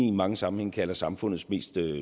i mange sammenhænge kalder samfundets mest